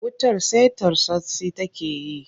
Wutar sai tartsatsi take yi.